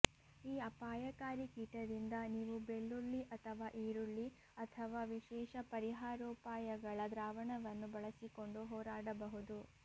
ಈ ಅಪಾಯಕಾರಿ ಕೀಟದಿಂದ ನೀವು ಬೆಳ್ಳುಳ್ಳಿ ಅಥವಾ ಈರುಳ್ಳಿ ಅಥವಾ ವಿಶೇಷ ಪರಿಹಾರೋಪಾಯಗಳ ದ್ರಾವಣವನ್ನು ಬಳಸಿಕೊಂಡು ಹೋರಾಡಬಹುದು